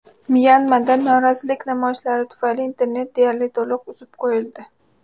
Myanmada norozilik namoyishlari tufayli internet deyarli to‘liq uzib qo‘yildi.